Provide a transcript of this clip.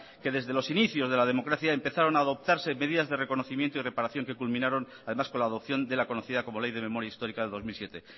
que desde los inicios de la democracia empezaron adoptarse medidas de reconocimiento y reparación que culminaron además con la adopción de la conocida como ley de memoria histórica de dos mil siete